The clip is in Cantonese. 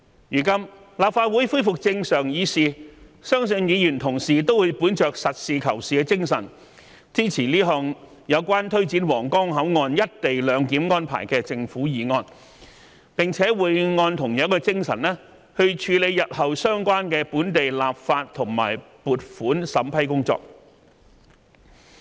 如今，立法會恢復正常議事，相信議員同事都會本着實事求是的精神，支持這項有關推展皇崗口岸"一地兩檢"安排的政府議案，並且會按同樣的精神，處理日後相關的本地立法和撥款審批工作。